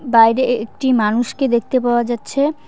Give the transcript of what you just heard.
বাইরে একটি মানুষকে দেখতে পাওয়া যাচ্ছে।